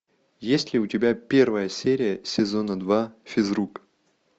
есть ли у тебя первая серия сезона два физрук